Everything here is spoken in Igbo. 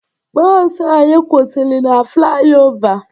Bọọsụ anyị kwụsịrị na flayova